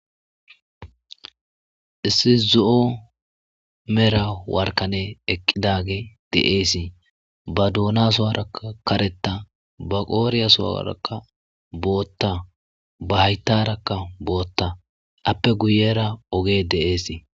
issi zo7o mera warkane eqqidage de7eesii ba duuna sowara kareta ba qooriyasowaarakka bootta ba hayttarakka bootta appe guyera ogee deeesi